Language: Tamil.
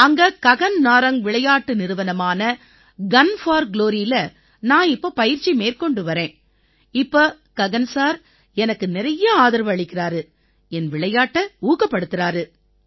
அங்க ககன் நாரங் விளையாட்டு நிறுவனமான குன் போர் Gloryஇல நான் இப்ப பயிற்சி மேற்கொண்டு வர்றேன் இப்ப ககன் சார் எனக்கு நிறைய ஆதரவு அளிக்கறாரு என் விளையாட்டை ஊக்கப்படுத்தறாரு